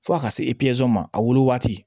Fo ka se ma a wolo waati